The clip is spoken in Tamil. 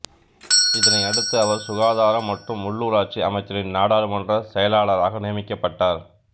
இதனை அடுத்து அவர் சுகாதாரம் மற்றும் உள்ளூராட்சி அமைச்சரின் நாடாளுமன்ற செயலாளராக நியமிக்கப்பட்டார்